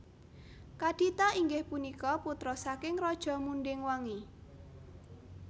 Kadita inggih punika putra saking Raja Munding Wangi